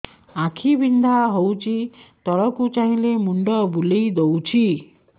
ଆଖି ବିନ୍ଧା ହଉଚି ତଳକୁ ଚାହିଁଲେ ମୁଣ୍ଡ ବୁଲେଇ ଦଉଛି